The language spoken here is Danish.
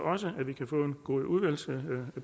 også at vi kan få en god udvalgsbehandling